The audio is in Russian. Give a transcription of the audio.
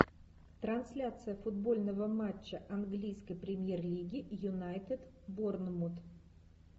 трансляция футбольного матча английской премьер лиги юнайтед борнмут